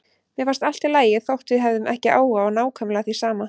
Mér fannst allt í lagi þótt við hefðum ekki áhuga á nákvæmlega því sama.